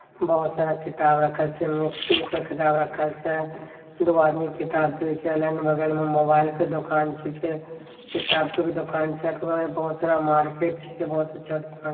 बहुत सारा किताब रखल छै किताब रखल छै दु गो आदमी किताब बेच रहले बगल मे मोबाइल के दोकान छींके किताब के भी दोकान छै बहुत सारा मार्केट छींके बहुत अच्छा दोकान --